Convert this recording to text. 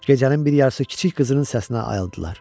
Gecənin bir yarısı kiçik qızının səsinə ayıldılar.